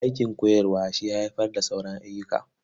Aikin koyarwa shi ya haifar da sauran ayyuka.